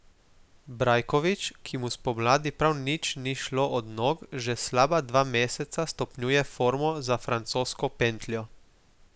Brajkovič, ki mu spomladi prav nič ni šlo od nog, že slaba dva meseca stopnjuje formo za francosko pentljo.